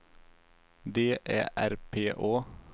D Ä R P Å